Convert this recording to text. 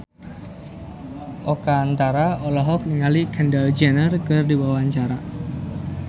Oka Antara olohok ningali Kendall Jenner keur diwawancara